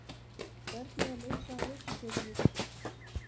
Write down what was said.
Hvernig er leitað að reikistjörnum utan sólkerfisins?